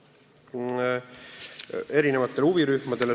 Saatsime selle ettepaneku eri huvirühmadele.